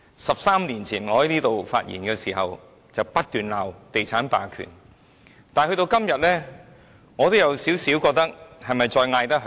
十三年前，我在本會發言時不斷罵地產霸權，但到了今天，我有點懷疑這是否還叫得響。